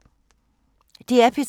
DR P3